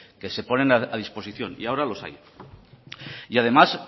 que se ponen a disposición y ahora los hay y además